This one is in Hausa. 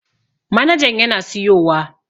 Manajan yana siyowa